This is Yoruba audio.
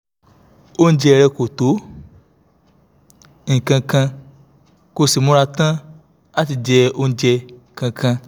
oúnjẹ rẹ̀ kò tó nǹkan kan kò sì múra tán láti jẹ oúnjẹ kankan